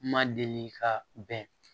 Ma deli ka bɛn